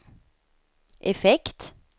effekt